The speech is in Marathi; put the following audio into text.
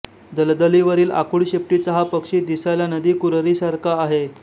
दलदलीवरील आखूड शेपटीचा हा पक्षी दिसायला नदी कुररीसारखा आहे